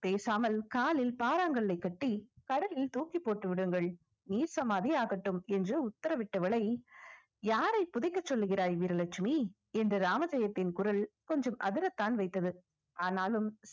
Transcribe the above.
பேசாமல் காலில் பாறாங்கல்லை கட்டி கடலில் தூக்கி போட்டு விடுங்கள் நீர் சமாதி ஆகட்டும் என்று உத்தரவிட்டவளை யார துடிக்க சொல்லுகிறாய் வீரலட்சுமி என்று ராமஜெயத்தின் குரல் கொஞ்சம் அதிரத்தான் வைத்தது